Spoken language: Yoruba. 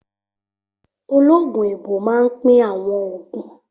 Ológun èèbó máa n pín àwọn ògùn